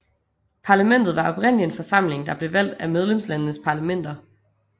Parlamentet var oprindelig en forsamling der blev valgt af medlemslandenes parlamenter